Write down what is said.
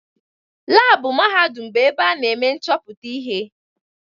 Laabụ mahadum bụ ebe ana eme nchọpụta ihe.